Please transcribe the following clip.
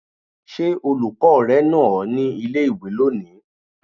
Ṣé olùkọ́ rẹ nà ọ ní ilé-ìwé lónìí?